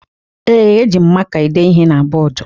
Ee, eji m maka ede ihe na bọọdụ